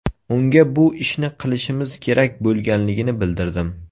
Unga bu ishni qilishimiz kerak bo‘lganligini bildirdim.